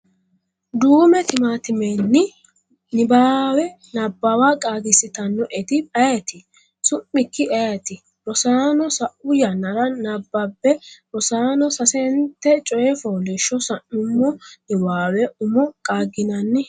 duume tiimatimeni nibbawe Nabbawa qaagiissitannoeti ayeeti? Su’mikki ayeeti? Rosaano, sa’u yannara nabbambe Rosaano, sasente coy fooliishsho sa’nummo niwaawe umo qaagginanni?.